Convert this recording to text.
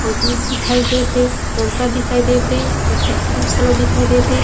अंगूर दिखाई देत हे संतरा दिखाई देत हे एक झी पुरुष घलो दिखाई देत है।